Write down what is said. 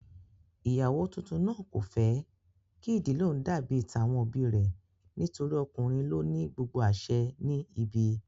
Ìyàwó tuntun náà kò fẹ́ kí ìdílé òun dàbí tàwọn òbí rẹ̀ torí ọkùnrin ló ní gbogbo àsẹ ní ibi